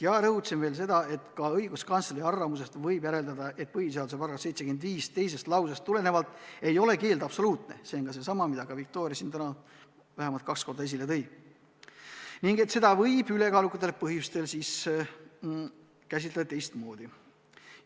Ma rõhutasin veel seda, et ka õiguskantsleri arvamusest võib järeldada, et põhiseaduse § 75 teisest lausest tulenevalt ei ole keeld absoluutne – see on seesama, mida Viktoria siin täna vähemalt kaks korda esile tõi – ning et seda võib kaaluvatel põhjustel siis käsitada teistmoodi.